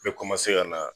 N bɛ ka na